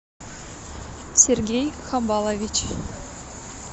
сергей хабалович